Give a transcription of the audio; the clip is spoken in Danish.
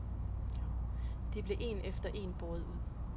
De blev en efter en båret ud.